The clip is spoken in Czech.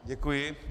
Děkuji.